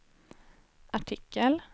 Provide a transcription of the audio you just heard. artikel